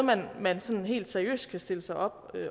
man sådan helt seriøst kan stille sig op